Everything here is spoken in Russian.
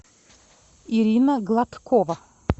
ирина гладкова